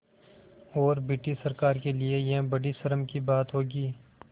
और ब्रिटिश सरकार के लिये यह बड़ी शर्म की बात होगी